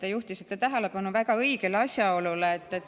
Te juhtisite tähelepanu väga õigele asjaolule.